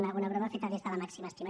una broma feta des de la màxima estima